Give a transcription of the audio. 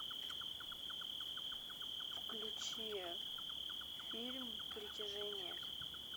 включи фильм притяжение